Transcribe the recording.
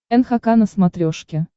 нхк на смотрешке